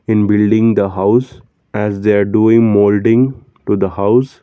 in building the house as they are doing moulding to the house.